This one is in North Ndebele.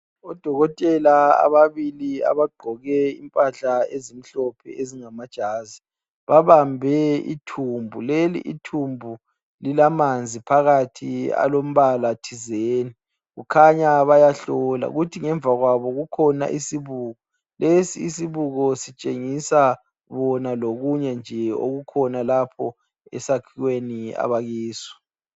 Odokotela ababili abagqoke impahla ezimhlophe ezingamajazi. Babambe ithumbu, leli ithumbu lilamanzi phakathi alombala thizeni. Kukhanya bayahlola. Kuthi ngemva kwabo kukhona isibuko. Lesi isibuko sitshengisa bona lokunye nje okukhonalapho esakhiweni abakiso.